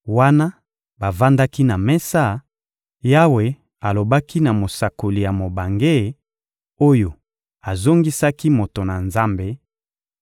Wana bavandaki na mesa, Yawe alobaki na mosakoli ya mobange, oyo azongisaki moto na Nzambe,